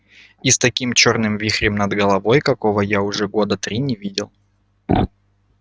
и с таким чёрным вихрем над головой какого я уже года три не видел